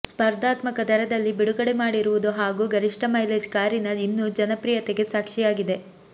ಸ್ಪರ್ಧಾತ್ಮಕ ದರದಲ್ಲಿ ಬಿಡುಗಡೆ ಮಾಡಿರುವುದು ಹಾಗೂ ಗರಿಷ್ಠ ಮೈಲೇಜ್ ಕಾರಿನ ಇನ್ನು ಜನಪ್ರಿಯತೆಗೆ ಸಾಕ್ಷಿಯಾಗಿದೆ